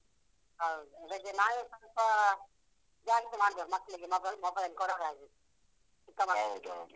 ಹೌದು. ಅದಕ್ಕೆ ನಾವೇ ಸ್ವಲ್ಪ ಜಾಸ್ತಿ ಮಾಡ್ಬಾರ್ದು ಮಕ್ಳಿಗೆ mobile mobile ಕೊಡದಾಗೆ